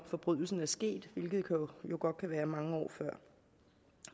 forbrydelsen er sket hvilket jo godt kan være mange år før